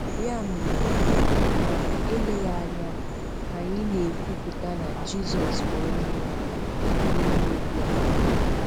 Ya mere, ma eleghị anya, anyị na-ekwupụta na Jizọs bụ Onyenweanyị n'ime obi anyị.